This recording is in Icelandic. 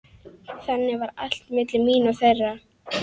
Þannig var allt milli mín og þeirra.